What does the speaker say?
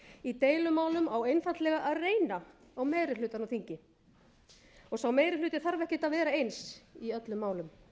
í deilumálum á einfaldlega að reyna á meiri hlutann á þingi sá meiri hluti þarf ekkert að vera eins í öllum málum